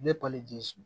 Ne palize